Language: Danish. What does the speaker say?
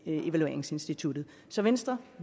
evalueringsinstituttet så venstre